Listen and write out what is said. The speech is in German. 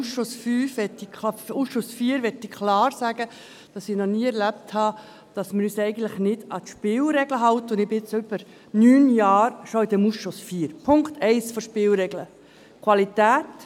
Auch im Ausschuss IV, das möchte ich klar sagen, habe ich es eigentlich noch nie erlebt, dass wir uns nicht an die Spielregeln halten, und ich bin jetzt schon seit über neun Jahren in diesem Ausschuss IV. Punkt 1 der Spielregeln: Qualität.